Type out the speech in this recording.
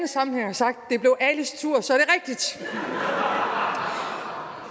sagt at har